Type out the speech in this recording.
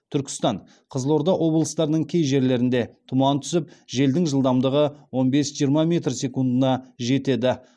түркістан қызылорда облыстарының кей жерлерінде тұман түсіп желдің жылдамдығы он бес жиырма метр секундына жетеді